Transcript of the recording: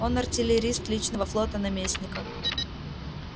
он артиллерист личного флота наместника